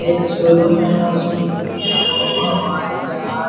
एक शोरुम है उसमें दो हवाई जहाज --